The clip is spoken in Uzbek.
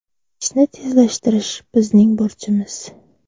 Ishni tezlashtirish bizning burchimiz”.